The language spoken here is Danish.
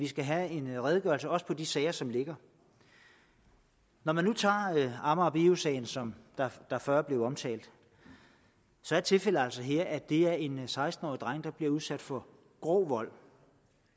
skal have en redegørelse også på de sager som ligger når man nu tager amager bio sagen som før blev omtalt så er tilfældet altså her at det er en seksten årig dreng der bliver udsat for grov vold